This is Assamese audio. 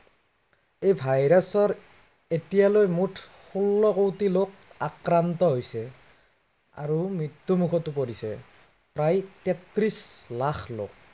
এই virus ত এতিয়ালৈ মুঠ ষোল্ল কৌটি লোক আক্ৰান্ত হৈছে। আৰু মৃত্য়ুমখতো পৰিছে প্ৰায় তেত্ৰিশ লাখ লোক।